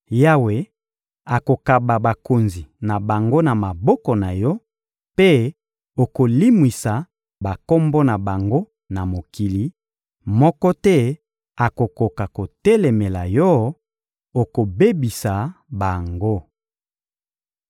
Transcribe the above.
Yawe akokaba bakonzi na bango na maboko na yo, mpe okolimwisa bakombo na bango na mokili; moko te akokoka kotelemela yo, okobebisa bango.